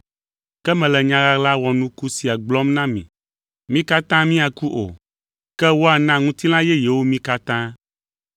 Ke mele nya ɣaɣla wɔnuku sia gblɔm na mi: Mí katã míaku o, ke woana ŋutilã yeyewo mí katã.